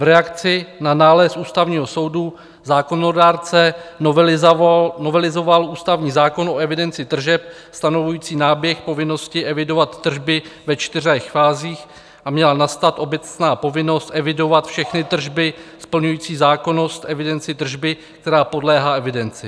V reakci na nález Ústavního soudu zákonodárce novelizoval ústavní zákon o evidenci tržeb stanovující náběh povinnosti evidovat tržby ve čtyřech fázích a měla nastat obecná povinnost evidovat všechny tržby splňující zákonnost evidenci tržby, která podléhá evidenci.